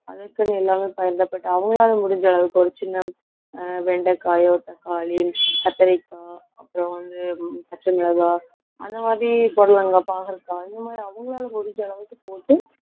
அதற்குன்னு எல்லாமே பயிரிடப்பட்டு அவங்களால முடிஞ்ச அளவுக்கு ஒரு சின்ன ஆஹ் வெண்டைக்காயோ, தக்காளி, கத்தரிக்காய் அப்புறம் வந்து, பச்சை மிளகாய், அந்த மாதிரி புடலங்காய், பாகற்காய் இந்த மாதிரி அவங்களால முடிஞ்ச அளவுக்கு போட்டு